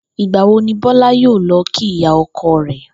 Ìgbà wo ni Bó̩lá yóò lo̩ kí ìyá o̩ko̩ rè̩?